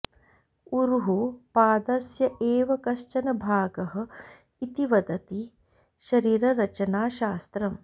ऊरुः पादस्य एव कश्चन भागः इति वदति शरीररचनाशास्त्रम्